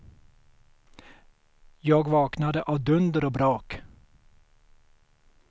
Jag vaknade av dunder och brak.